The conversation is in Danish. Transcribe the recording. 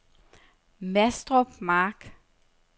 Mastrup Mark